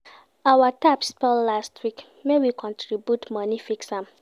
Our tap spoil last week, make we contribute moni fix am.